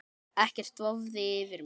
Ekkert vofði yfir mér.